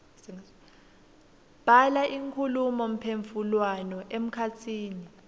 bhala inkhulumomphendvulwano emkhatsini